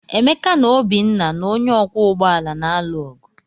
Emeka na Obinna na onye ọkwọ ụgbọ ala na-alụ ọgụ.